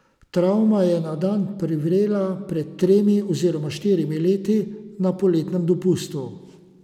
Travma je na dan privrela pred tremi oziroma štirimi leti na poletnem dopustu.